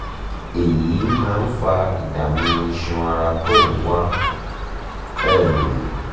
èyí máa ń fa ìdààmú iṣan ara tó ń wá um